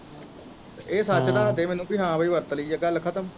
ਇਹ ਸੱਚ ਦਸਦੇ ਮੈਨੂੰ ਪੀ ਹਾਂ ਬਈ ਵਰਤ ਲਾਇਆ ਗੱਲ ਖਤਮ